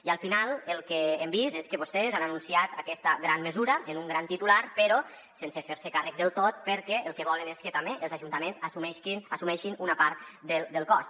i al final el que hem vist és que vostès han anunciat aquesta gran mesura amb un gran titular però sense fer·se’n càrrec del tot perquè el que volen és que també els ajuntaments as·sumeixin una part del cost